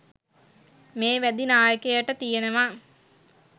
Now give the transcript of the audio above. මේ වැදි නායකයට තියෙනව.